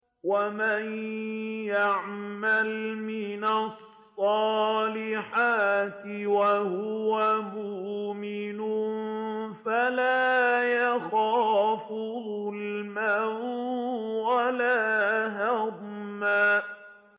وَمَن يَعْمَلْ مِنَ الصَّالِحَاتِ وَهُوَ مُؤْمِنٌ فَلَا يَخَافُ ظُلْمًا وَلَا هَضْمًا